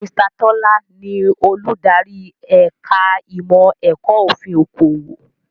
Mr. Tọ́lá ni Olùdarí ẹ̀ka ìmọ̀ ẹ̀kọ́ òfin okòwò